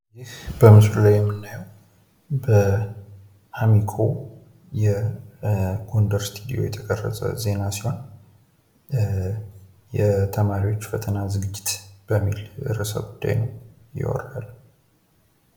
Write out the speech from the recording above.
በምስሉ ላይ የምናየው የአሚኮ የጎንደር ስቱድዮ የተቀረጸ ዜና ሲሆን የተማሪዎች ፈተና ዝግጅት በሚል ርዕሰጉዳይ ነው።